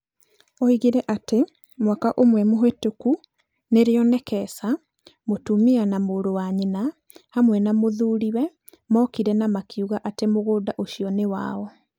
Oigire atĩ mwaka ũmwe mĩhĩtũku nĩrĩo Nekesa, mũtumia wa mũrũ wa nyina, hamwe na mũthuriwe mookire na makiuga atĩ mũgũnda ũcio nĩ wao.